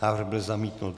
Návrh byl zamítnut.